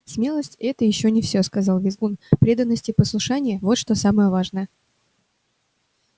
смелость это ещё не всё сказал визгун преданность и послушание вот что самое важное